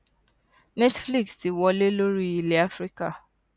netflix ti wọlé lórí ilẹ áfíríkà